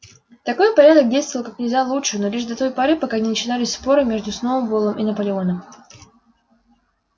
такой порядок действовал как нельзя лучше но лишь до той поры пока не начинались споры между сноуболлом и наполеоном